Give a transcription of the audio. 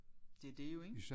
Det er det jo ik